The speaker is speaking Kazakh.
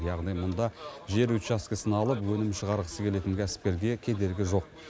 яғни мұнда жер учаскесін алып өнім шығарғысы келетін кәсіпкерге кедергі жоқ